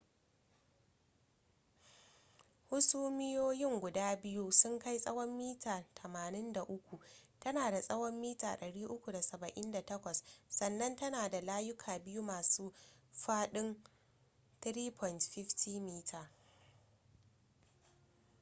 hasumiyoyin guda biyu sun kai tsawon mita 83 tana da tsawon mita 378 sannan tana da layuka biyu masu faɗin 3.50 m